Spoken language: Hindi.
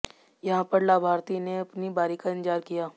यहां पर लाभार्थी ने अपनी बारी का इंतजार किया